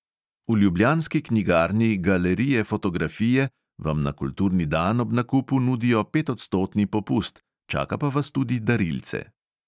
V ljubljanski knjigarni galerije fotografije vam na kulturni dan ob nakupu nudijo petodstotni popust, čaka pa vas tudi darilce.